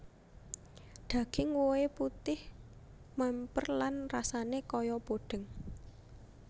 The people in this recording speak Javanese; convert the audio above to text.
Daging wohé putih mèmper lan rasané kayapodeng